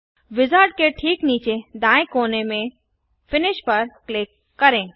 wizard के ठीक नीचे दाएँ कोने में पर फिनिश पर क्लिक करें